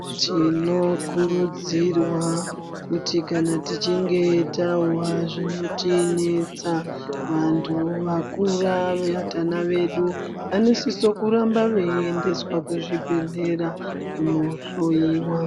Tinokurudzirwa kuti kana tichinge tahwa zvinotinetsa vantu vakura vatana vedu vanosisa kuramba veiendeswa kuzvibhehlera kuno hloiwa.